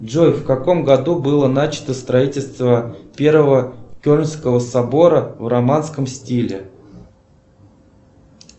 джой в каком году было начато строительство первого кельнского собора в романском стиле